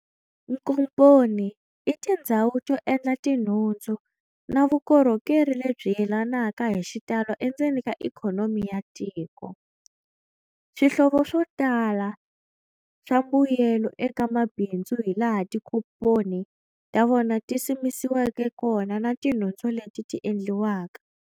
Nkomponi itindzhawu to endla tinhundzu na vukorhokeri lebyi yelanaka hixitalo endzeni ka ikhonomi ya tiko. Swihlovo swotala swa mbuyelo eka mabhinzu hi laha tikomponi tavona tisimekiweke kona na tinhudzu leti ti endliwaka.